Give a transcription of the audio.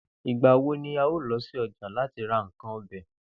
Ìgbà wo ni a óò lo̩ sí o̩jà láti ra nǹkan o̩be̩?